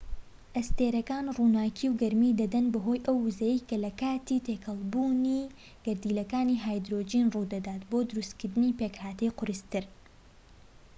ئەستێرەکان ڕووناكی و گەرمی دەدەن بەهۆی ئەو ووزەیەی لە کاتی تێکەڵبوونی گەردیلەکانی هایدرۆجین ڕوو دەدات بۆ دروستکردنی پێکهاتەی قورستر